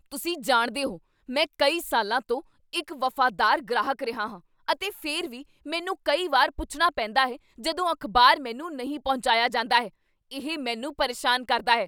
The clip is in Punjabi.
ਤੁਸੀਂ ਜਾਣਦੇ ਹੋ, ਮੈਂ ਕਈ ਸਾਲਾਂ ਤੋਂ ਇੱਕ ਵਫ਼ਾਦਾਰ ਗ੍ਰਾਹਕ ਰਿਹਾ ਹਾਂ, ਅਤੇ ਫਿਰ ਵੀ ਮੈਨੂੰ ਕਈ ਵਾਰ ਪੁੱਛਣਾ ਪੈਂਦਾ ਹੈ ਜਦੋਂ ਅਖ਼ਬਾਰ ਮੈਨੂੰ ਨਹੀਂ ਪਹੁੰਚਾਇਆ ਜਾਂਦਾ ਹੈ। ਇਹ ਮੈਨੂੰ ਪਰੇਸ਼ਾਨ ਕਰਦਾ ਹੈ।